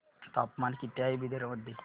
तापमान किती आहे बिदर मध्ये